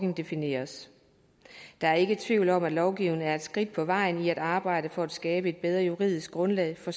defineres der er ikke tvivl om at lovgivning er et skridt på vejen i arbejdet for at skabe et bedre juridisk grundlag for